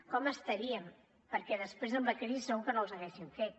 com estaríem perquè després amb la crisi segur que no les haguessin fet